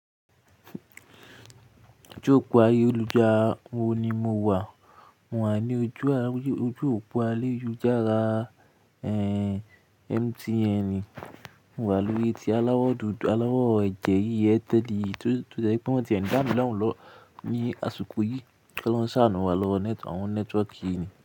Ojú òpó ayélujára oun ni mo wà? Mò wà ní ojú òpó ayélujára MTN. Mo wà lórí etí aláwọ̀ dúdú, aláwọ̀ ẹ̀jẹ̀ yíyẹ teddy 2021. Ìgbá mi na o lọ ní àsìkò yìí kí Olọ́rún ṣàánú wá lọ àwọn nẹ́tíwọ̀kì yìí ni.